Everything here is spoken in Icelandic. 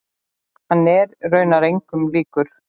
Hann er raunar engum líkur.